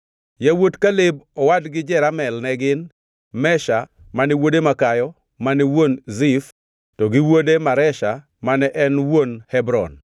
Yawuot Kaleb owadgi Jeramel ne gin: Mesha mane wuode makayo mane wuon Zif to gi wuode Maresha mane en wuon Hebron.